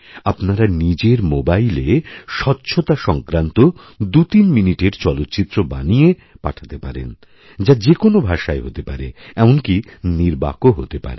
আপনারা নিজের মোবাইলে স্বচ্ছতা সংক্রান্ত দুইতিন মিনিটেরচলচ্চিত্র বানিয়ে পাঠাতে পারেন যা যে কোনও ভাষায় হতে পারে এমনকী নির্বাকও হতেপারে